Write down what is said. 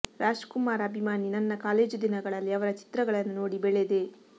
ರಾಜ್ಕುಮಾರ್ ಅಭಿಮಾನಿ ನನ್ನ ಕಾಲೇಜು ದಿನಗಳಲ್ಲಿ ಅವರ ಚಿತ್ರಗಳನ್ನು ನೋಡಿ ಬೆಳೆದೆ